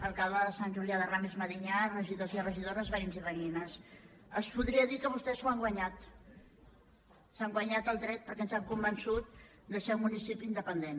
alcalde de sant julià de ramis medinyà regidors i regidores veïns i veïnes es podria dir que vostès s’ho han guanyat s’han guanyat el dret perquè ens han convençut de ser un municipi independent